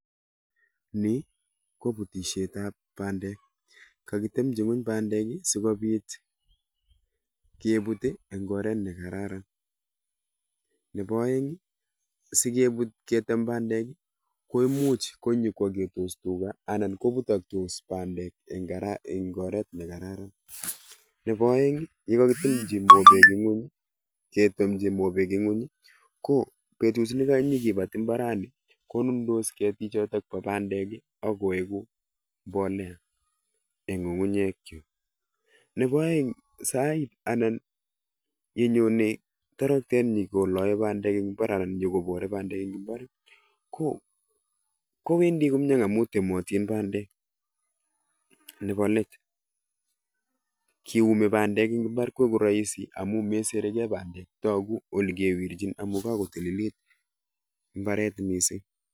Ni koputishetab pandek. Kakitemchi ngweny pandek sikobit keput eng oret nekararan. Nebo oeng sikeput ketem pandek, koimuch koi nyikoagetos tuga anan koputokis pandek eng oret nekararan. Nebo oeng yekakitemchi mobek ngweny kobetut nekanyi kipat imbarani konuntos ketik chebo bo pandek ak koegu mbolea eng ng'ung'unyek chu. Nebo oeng sait anan yenyonei toroktet yokoloei pandek anan nyiko porei pandek eng imbar, kowendi komie amun iyu. otin pandek . Nebo let, kiumi pandek eng imbar, ko rahisi meserigei pandek amu togu ole kewerchin amun kakotililit imbaret mising.